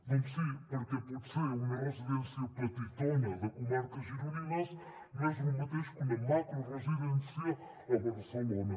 doncs sí perquè potser una residència petitona de comarques gironines no és lo mateix que una macroresidència a barcelona